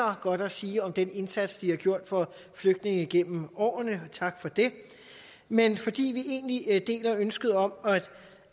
af godt at sige om den indsats de har gjort for flygtninge igennem årene og tak for det men fordi vi egentlig deler ønsket om